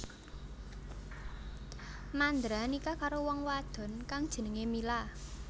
Mandra nikah karo wong wadon kang jenengé Mila